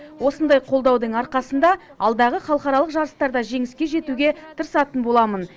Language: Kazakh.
осындай қолдаудың арқасында алдағы халықаралық жарыстарда жеңіске жетуге тырысатын боламын